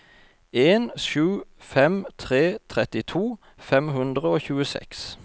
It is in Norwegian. en sju fem tre trettito fem hundre og tjueseks